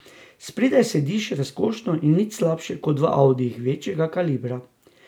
Spredaj sediš razkošno in nič slabše kot v audijih večjega kalibra.